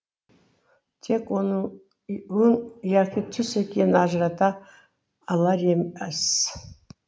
тек оның өң яки түс екенін ажырата алар емес